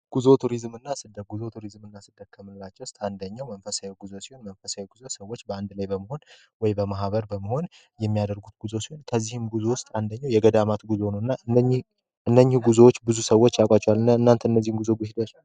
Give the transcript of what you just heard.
ጉዞ ቱሪዝምና ስደ ጉዞ ቱሪዝምና ስደትስ አንደኛው መንፈሳዊ ጉዞ ሲሆን፤ መንፈሳዊ ጉዞ ሰዎች በአንድ ላይ በመሆን ወይ በማህበር በመሆን የሚያደርጉት ጉዞ ከዚህም ጉዞ ውስጥ አንደኛው የገዳማት ጉዞና እነኚ ጉዞዎች ሂዳቺኋል?